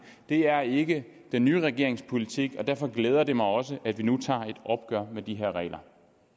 det er ikke den nye regerings politik og derfor glæder det mig også at vi nu tager et opgør med de her regler